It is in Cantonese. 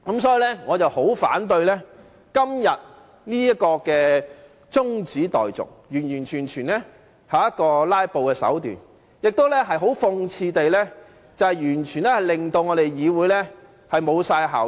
所以，我十分反對今天這項中止待續議案，這完全是"拉布"的手段，亦很諷刺地令我們的議會完全失去效益。